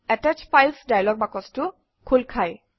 attach files dialog বাকচটো খোল খায়